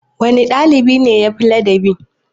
Wanne ɗalibi ne yafi ladabi?